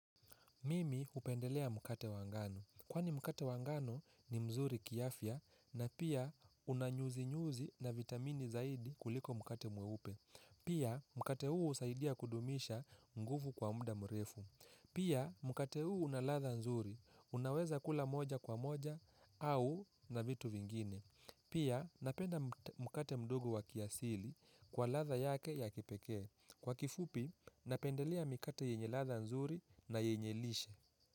Mimi hupendelea mkate wa ngano. Kwani mkate wa ngano ni mzuri kiafya na pia una nyuzi-nyuzi na vitamini zaidi kuliko mkate mweupe. Pia mkate huu husaidia kudumisha nguvu kwa muda mrefu. Pia mkate huu una ladha nzuri. Unaweza kula moja kwa moja au na vitu vingine. Pia napenda mkate mdogo wa kiasili kwa ladha yake ya kipekee. Kwa kifupi, napendelea mikate yenye ladha nzuri na yenye lishe.